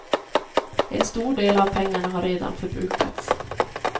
En stor del av pengarna har redan förbrukats.